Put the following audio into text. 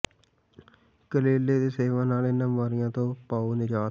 ਕਰੇਲੇ ਦੇ ਸੇਵਨ ਨਾਲ ਇਨ੍ਹਾਂ ਬੀਮਾਰੀਆਂ ਤੋਂ ਪਾਓ ਨਿਜਾਤ